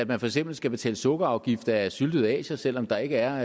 man for eksempel skal betale sukkerafgift af syltede asier selv om der ikke er